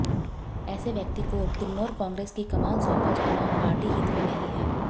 ऐसे व्यक्ति को किन्नौर कांग्रेस की कमान सौंपा जाना पार्टी हित में नहीं है